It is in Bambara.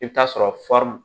I bɛ t'a sɔrɔ